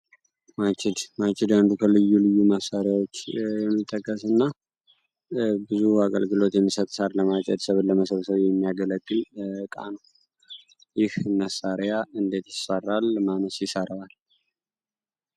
ማችድ አንዱ ከልዩ ልዩ መሳሪያዎች የሚጠከስ እና ብዙ አገልግሎት የሚሰተሳር ለማጨድ ስብድ ለመስብሰዊ የሚያገለቅ እቃ ነው። ይህ ነሣሪያ እንዴት ይሰራል ? ማነስ ይሰርዋል?